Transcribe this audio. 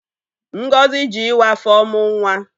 Ngozi ji ịwa afọ mụ nwa.